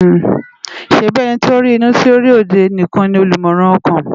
ṣèbi èniti ó ri inú ti ó ri ódé nikán ni ólúmòrán òkán?